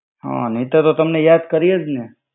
હા નૈતર તો તમને યાદ કરી એજ ને.